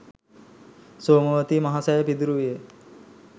සෝමාවතී මහසෑය සිදුරු විය.